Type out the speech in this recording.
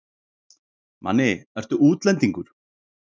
Manni, ertu útlendingur?